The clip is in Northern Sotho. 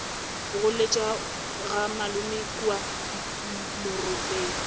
goletše ga malome kua moropetse